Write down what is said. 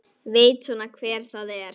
Veit svona hver það er.